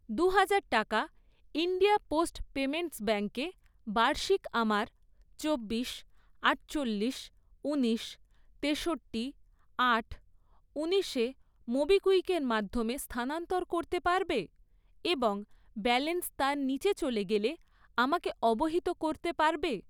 দুহাজার টাকা India Post Payments ব্যাঙ্কে বার্ষিক আমার চব্বিশ, আটচল্লিশ, ঊনিশ, তেষট্টি, আট, ঊনিশে মোবিকুইকের মাধ্যমে স্থানান্তর করতে পারবে এবং ব্যালেন্স তার নিচে চলে গেলে আমাকে অবহিত করতে পারবে?